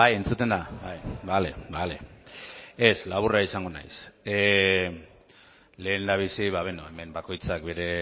entzuten da bale ez laburra izango naiz lehendabizi hemen bakoitzak bere